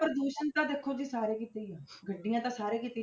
ਪ੍ਰਦੂਸ਼ਣ ਤਾਂ ਦੇਖੋ ਜੀ ਸਾਰੇ ਕਿਤੇ ਹੀ ਹੈ ਗੱਡੀਆਂ ਤਾਂ ਸਾਰੇ ਕਿਤੇ ਹੀ,